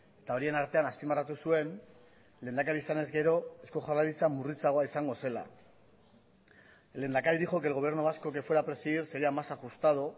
eta horien artean azpimarratu zuen lehendakari izanez gero eusko jaurlaritza murritzagoa izango zela el lehendakari dijo que el gobierno vasco que fuera a presidir sería más ajustado